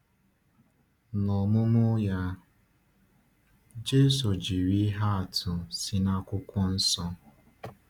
N’ọmụmụ um ya, Jésù jiri ihe atụ si n’Akwụkwọ Nsọ.